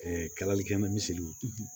kalali kɛ bɛ misiriw